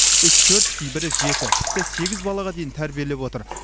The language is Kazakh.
үш төрт кейбірі жеті тіпті сегіз балаға дейін тәрбиелеп отыр